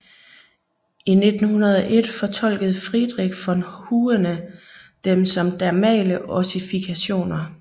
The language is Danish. I 1901 fortolkede Friedrich von Huene dem som dermale ossifikationer